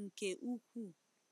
nke ukwuu.